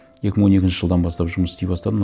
екі мың он екінші жылдан бастап жұмыс істей бастадым